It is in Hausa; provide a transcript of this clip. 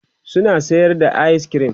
suna sayan ayis kirim